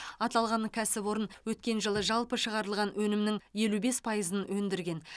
аталған кәсіпорын өткен жылы жалпы шығарылған өнімнің елу бес пайызын өндірген